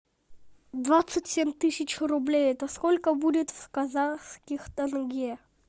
двадцать семь тысяч рублей это сколько будет в казахских тенге